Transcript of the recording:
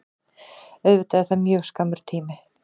Auðvitað er það mjög skammur tími